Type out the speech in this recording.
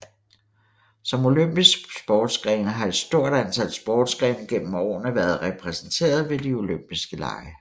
Som olympiske sportsgrene har et stort antal sportsgrene gennem årene været repræsenteret ved de olympiske lege